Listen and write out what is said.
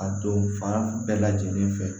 A don fan bɛɛ lajɛlen fɛ